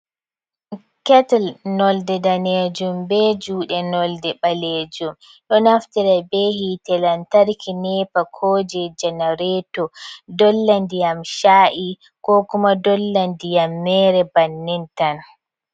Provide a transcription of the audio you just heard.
Ketil nonnde daneejum, be juuɗe nonnde ɓaleejum, ɗo naftira be hiite lantarki neepa, ko jey janareeto dolla ndiyam chaa’i ko kuma dolla ndiyam meere bannin tan.